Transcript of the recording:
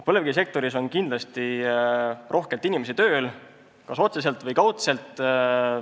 Põlevkivisektoris on kindlasti kas otseselt või kaudselt rohkelt inimesi tööl.